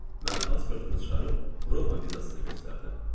Mən pasportumu çıxarıb Roma vizasını göstərdim.